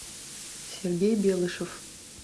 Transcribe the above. сергей белышев